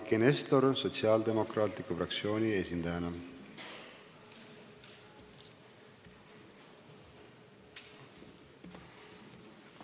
Eiki Nestor Sotsiaaldemokraatliku Erakonna fraktsiooni esindajana, palun!